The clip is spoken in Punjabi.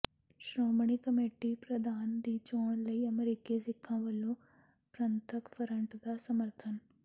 ਸ਼੍ਰੋਮਣੀ ਕਮੇਟੀ ਪ੍ਰਧਾਨ ਦੀ ਚੋਣ ਲਈ ਅਮਰੀਕੀ ਸਿੱਖਾਂ ਵਲੋਂ ਪੰਥਕ ਫਰੰਟ ਦਾ ਸਮਰਥਨ